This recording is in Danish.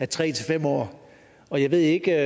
tre fem år og jeg ved ikke